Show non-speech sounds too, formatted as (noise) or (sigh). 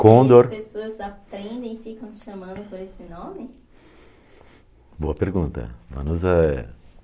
Condor... As pessoas aprendem e ficam chamando por esse nome? Boa pergunta. (unintelligible) é...